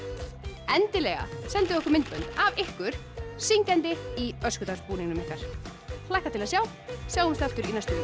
endilega sendið okkur myndbönd af ykkur syngjandi í öskudags búningnum ykkar hlakka til að sjá sjáumst aftur í næstu